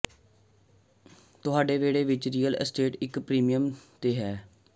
ਤੁਹਾਡੇ ਵਿਹੜੇ ਵਿਚ ਰੀਅਲ ਅਸਟੇਟ ਇਕ ਪ੍ਰੀਮੀਅਮ ਤੇ ਹੋ ਸਕਦਾ ਹੈ